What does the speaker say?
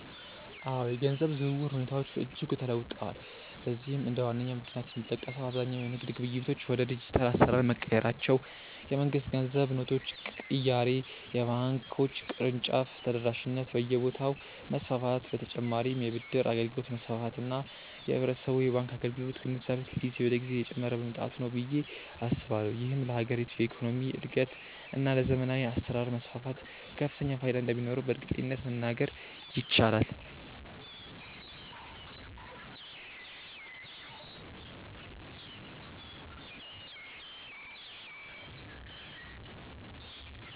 አዎ፣ የገንዘብ ዝውውር ሁኔታዎች በእጅጉ ተለውጠዋል። ለዚህም እንደ ዋነኛ ምክንያት የሚጠቀሰው አብዛኛው የንግድ ግብይቶች ወደ ዲጂታል አሰራር መቀየራቸው፣ የመንግስት የገንዘብ ኖቶች ቅያሬ፣ የባንኮች የቅርንጫፍ ተደራሽነት በየቦታው መስፋፋት በ ተጨማርም የ ብድር አገልግሎት መስፋፋት እና የህብረተሰቡ የባንክ አገልግሎት ግንዛቤ ከጊዜ ወደ ጊዜ እየጨመረ መምጣቱ ነው ብዬ አስባለሁ። ይህም ለሀገሪቱ የኢኮኖሚ እድገት እና ለዘመናዊ አሰራር መስፋፋት ከፍተኛ ፋይዳ እንደሚኖረውም በእርግጠኝነት መናገር ይቻላል።